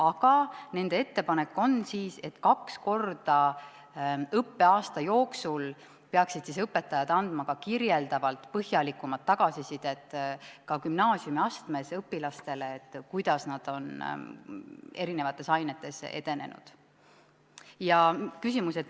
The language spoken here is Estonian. Aga nende ettepanek on, et kaks korda õppeaasta jooksul peaksid õpetajad andma kirjeldavat põhjalikumat tagasisidet õpilastele ka gümnaasiumiastmes, kuidas need on eri ainetes edenenud.